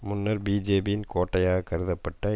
முன்னர் பிஜேபியின் கோட்டையாகக் கருதப்பட்ட